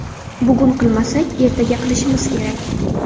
Bugun qilmasak, ertaga qilishimiz kerak.